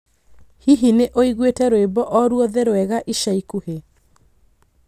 Hihi nĩ ũiguĩte rwĩmbo o rwothe rwega ica ikuhĩ